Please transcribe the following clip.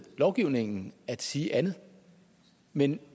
lovgivningen at sige andet men